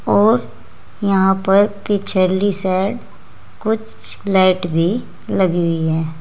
और यहां पर पिछली साइड कुछ लाइट भी लगी हुई है।